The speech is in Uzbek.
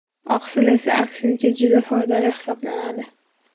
Oqsil esa, aksincha juda foydali hisoblanadi.